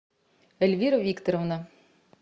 эльвира викторовна